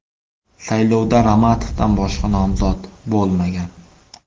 Saylovda Ramatovdan boshqa nomzod bo‘lmagan.